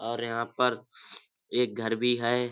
और यहाँ पर एक घर भी है।